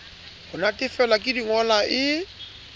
ho natefelwa ke dingolwa e